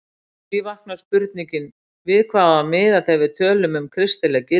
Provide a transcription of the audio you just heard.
Því vaknar spurningin við hvað á að miða þegar við tölum um kristileg gildi?